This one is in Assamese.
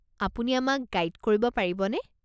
আপুনি আমাক গাইড কৰিব পাৰিবনে?